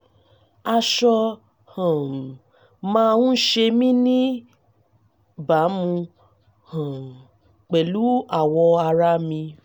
aṣọ um máa ń ṣe mí níbàámu um pẹ̀lú awọ ara mi